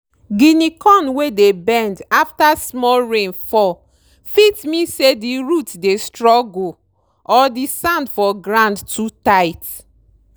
guinea corn wey dey bend after small rain fall fit mean say di root dey struggle or di sand for grand too tight.